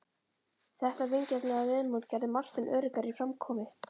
Þetta vingjarnlega viðmót gerði Martein öruggari í framkomu.